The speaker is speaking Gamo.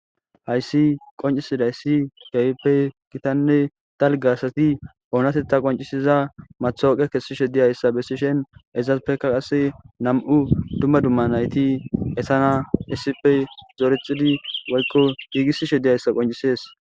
hayssi qoncisidayssi gayppe kitanne talgasati oonatetta qoncisiza mathooqe kessishe diyayssa bessishen ezas peka qase nam7u dumma dumma nayti esana issippe zorecidi woykko hiigisi she diyayssa qoncisees